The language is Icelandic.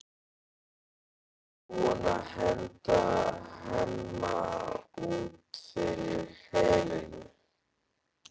Er hún búin að henda Hemma út fyrir Helenu?